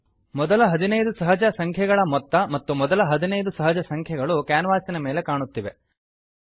ಮೊದಲ 15 ಸಹಜ ಸಂಖ್ಯೆಗಳ ಮೊತ್ತ ಮತ್ತು ಮೊದಲ 15 ಸಹಜ ಸಂಖ್ಯೆಗಳು ಕ್ಯಾನ್ವಾಸಿನ ಮೇಲೆ ಕಾಣುತ್ತಿವೆ